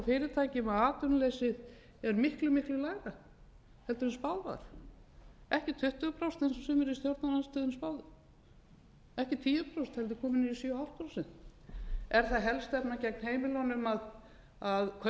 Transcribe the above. fyrirtækjum að atvinnuleysi er miklu miklu lægra heldur en spáð var ekki tuttugu prósent eins og sumir í stjórnarandstöðunni spáðu ekki tíu prósent heldur komið niður í sjö og hálft prósent er það helstefna gegn heimilunum að kaupmátturinn hefur minnkað